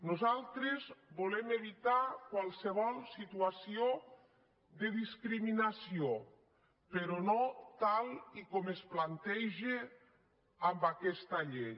nosaltres volem evitar qualsevol situació de discriminació però no tal com es planteja en aquesta llei